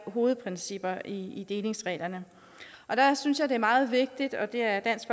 hovedprincipperne i delingsreglerne og der synes jeg det er meget vigtigt og det er dansk